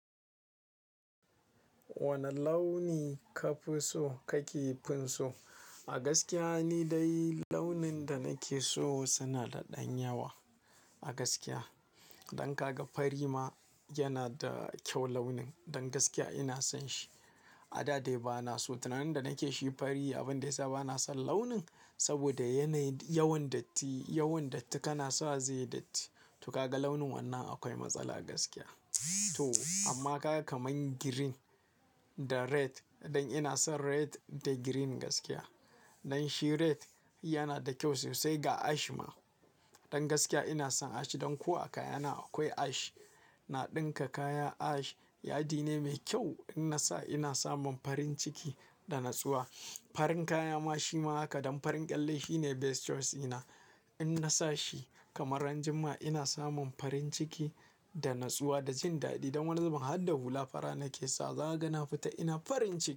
Wane launi ka fi so ka ke finso? A gaskiya ni dai launin da nake so suna da ɗan yawa a gaskiya. Dan ka ga fari ma yana da kyau launin. Don gaskiya ina son shi. A da dai ba na so. Tunanin da na ke shi fari, abin da ya sa ba na son launin saboda yana yawan datti, yawan datti. Kana sa shi zai yi datti. To kaga launin wannan akwai matsala gaskiya. To amma kaga kamar green da red, don ina son red da green gaskiya. Don shi red yana da kyau sosai ga ash ma. Don gaskiya ina son ash. Don kuwa kaya na akwai ash. Na ɗinka kaya ash. Yadi ne mai kyau. In na sa ina samun farin ciki da natsuwa. Farin kaya ma shi ma haka. Don farin ƙyalle shi ne best choice ina. In na sa shi kamar ranar juma'a ina samun farin ciki da natsuwa da jin daɗi. Don wani zubin har da hula fara na ke sa wa, zaka ga na fita ina farin ciki.